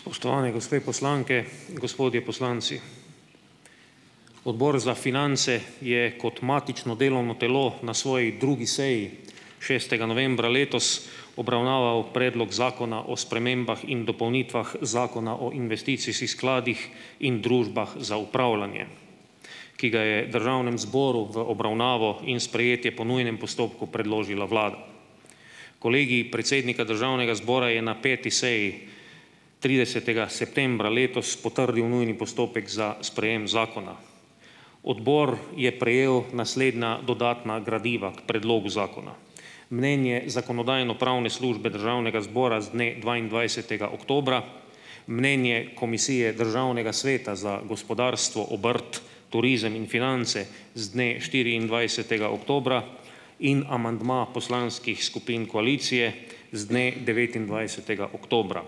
Spoštovane gospe poslanke, gospodje poslanci! Odbor za finance je kot matično delovno telo na svoji drugi seji, šestega novembra letos obravnaval Predlog zakona o spremembah in dopolnitvah Zakona o investicijskih skladih in družbah za upravljanje, ki ga je Državnem zboru v obravnavo in sprejetje po nujnem postopku predložila Vlada. Kolegij predsednika Državnega zbora je na peti seji, tridesetega septembra letos potrdil nujni postopek za sprejem zakona. Odbor je prejel naslednja dodatna gradiva k predlogu zakona. Mnenje Zakonodajno-pravne službe Državnega zbora z dne dvaindvajsetega oktobra, mnenje Komisije Državnega sveta za gospodarstvo, obrt, turizem in finance z dne štiriindvajsetega oktobra in amandma poslanskih skupin koalicije z dne devetindvajsetega oktobra.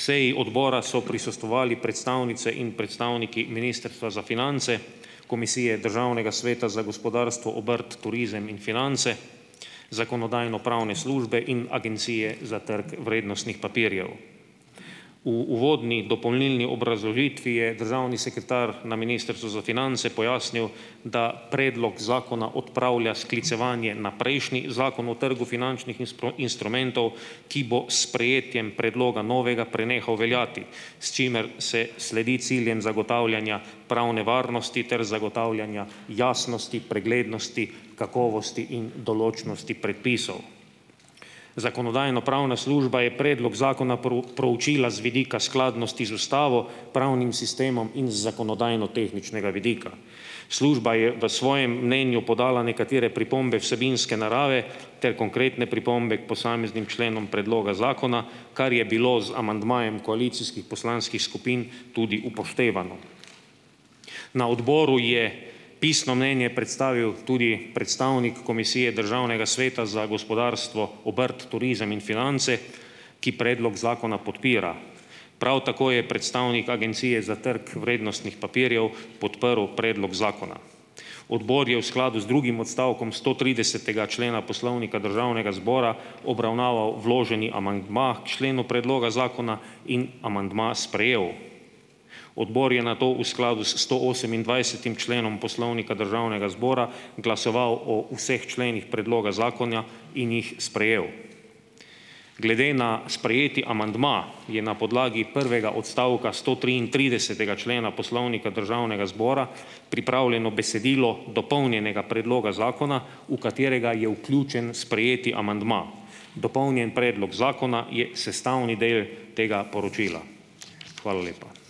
Seji odbora so prisostvovali predstavnice in predstavniki Ministrstva za finance, Komisije Državnega sveta za gospodarstvo, obrt, turizem in finance, Zakonodajno-pravne službe in Agencije za trg vrednostnih papirjev. V uvodni dopolnilni obrazložitvi je državni sekretar na Ministrstvu za finance pojasnil, da predlog zakona odpravlja sklicevanje na prejšnji Zakon o trgu finančnih instrumentov, ki bo s sprejetjem predloga novega prenehal veljati, s čimer se sledi ciljem zagotavljanja pravne varnosti ter zagotavljanja jasnosti, preglednosti, kakovosti in določnosti predpisov. Zakonodajno-pravna služba je predlog zakona pro proučila z vidika skladnosti z Ustavo, pravnim sistemom in z zakonodajnotehničnega vidika. Služba je v svojem mnenju podala nekatere pripombe vsebinske narave ter konkretne pripombe k posameznim členom predloga zakona, kar je bilo z amandmajem koalicijskih poslanskih skupin tudi upoštevano. Na odboru je pisno mnenje predstavil tudi predstavnik Komisije Državnega sveta za gospodarstvo, obrt, turizem in finance, ki predlog zakona podpira. Prav tako je predstavnik Agencije za trg vrednostnih papirjev podprl predlog zakona. Odbor je v skladu z drugim odstavkom stotridesetega člena Poslovnika Državnega zbora obravnaval vloženi amandma k členu predloga zakona in amandma sprejel. Odbor je nato v skladu s stoosemindvajsetim členom Poslovnika Državnega zbora glasoval o vseh členih predloga zakona in jih sprejel. Glede na sprejeti amandma je na podlagi prvega odstavka stotriintridesetega člena Poslovnika Državnega zbora pripravljeno besedilo dopolnjenega predloga zakona, v katerega je vključen sprejeti amandma. Dopolnjen predlog zakona je sestavni del tega poročila. Hvala lepa.